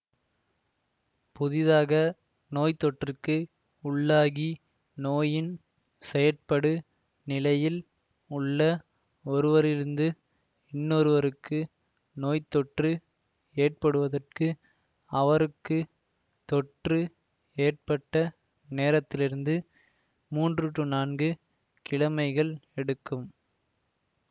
புதிதாக நோய்த்தொற்றுக்கு உள்ளாகி நோயின் செயற்படு நிலையில் உள்ள ஒருவரிலிருந்து இன்னொருவருக்கு நோய்த்தொற்று ஏற்படுவதற்கு அவருக்கு தொற்று ஏற்பட்ட நேரத்திலிருந்து மூன்று நான்கு கிழமைகள் எடுக்கும்